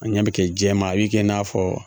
A ɲɛ bɛ kɛ jɛman a bɛ kɛ i n'a fɔ